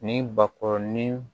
Ni bakɔrɔnin